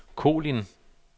Kolind